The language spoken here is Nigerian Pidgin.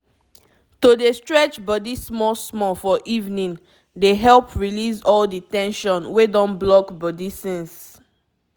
to dey stretch body small-small for evening dey help release all the ten sion wey don block body since.